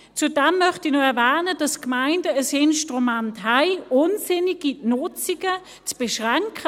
Zudem möchte ich noch erwähnen, dass die Gemeinden ein Instrument haben, um unsinnige Nutzungen zu beschränken.